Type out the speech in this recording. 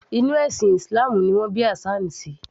Inú ẹ̀sìn islam ni wọn bí Hassan sí